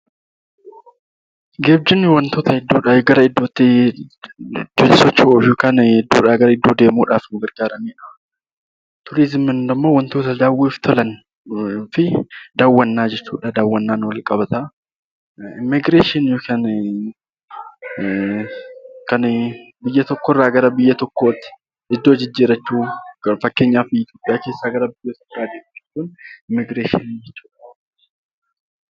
Geejjibni wantoota iddoodhaa gara iddootti socho'u yookiin iddoorraa gara iddoo deemuuf nu gargaaru yoo ta'u turizimiin immoo wantoota daawwannaaf tolanii fi daawwannaan wal qabata. Immiigireeshiniin immoo biyya tokkorraa gara biraatti iddoo jijjiirrachuu fakkeenyaaf Itoophiyaa keessaa ala bahuu